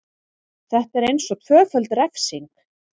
Þetta er eins og tvöföld refsing.